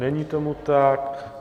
Není tomu tak.